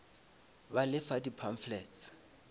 ba le fa di pamphlets